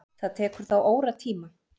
Það tekur þá óratíma.